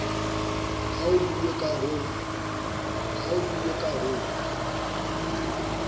ha ho buuwe ka ho